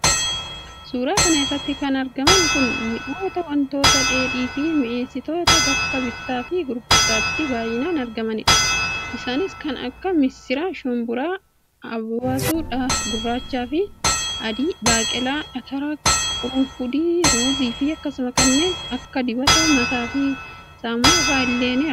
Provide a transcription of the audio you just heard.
suuraa kana irratti kan argaman kun mi'oota, wantoota dheedhiifi mi'eessitoota bakka bittaafi gurgurtaatti baay'inaan argamanidha. isaanis kan akka missira, shumburaa, abasuudha gurraachaafi adii, baaqelaa, atara, qurunfudii, ruuziifi akkasumas kanneen akka dibata mataafi saamunaa fa'a illee kan argamanidha.